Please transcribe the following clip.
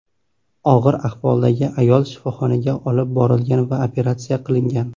Og‘ir ahvoldagi ayol shifoxonaga olib borilgan va operatsiya qilingan.